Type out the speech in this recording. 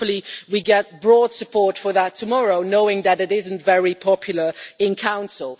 Hopefully we get broad support for that tomorrow, knowing that it is not very popular in Council.